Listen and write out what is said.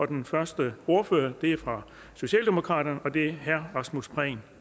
den første ordfører er fra socialdemokratiet og det er herre rasmus prehn